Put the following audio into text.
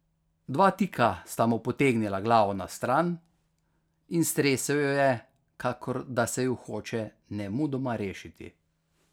Dva tika sta mu potegnila glavo na stran in stresel jo je, kakor da se ju hoče nemudoma rešiti.